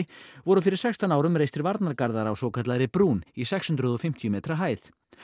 voru fyrir sextán árum reistir varnargarðar á svokallaðri brún í sex hundruð og fimmtíu metra hæð